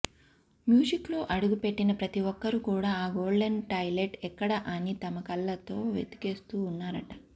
మ్యూజిక్లో అడుగు పెట్టిన ప్రతి ఒక్కరు కూడా ఆ గోల్డెన్ టాయిలెట్ ఎక్కడ అని తమ కళ్లతో వెదికేస్తూ ఉన్నారట